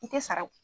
I tɛ sara o